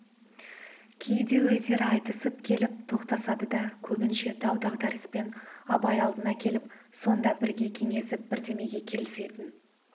кейде өздері айтысып келіп тоқтасады да көбінше дау-дағдарыспен абай алдына келіп сонда бірге кеңесіп бірдемеге келісетін